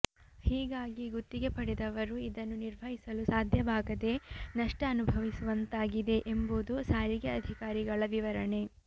ಹೀಗಾಗಿ ಗುತ್ತಿಗೆ ಪಡೆದವರು ಇದನ್ನು ನಿರ್ವಹಿಸಲು ಸಾಧ್ಯವಾಗದೆ ನಷ್ಟ ಅನುಭವಿಸುವಂತಾಗಿದೆ ಎಂಬುದು ಸಾರಿಗೆ ಅಧಿಕಾರಿಗಳ ವಿವರಣೆ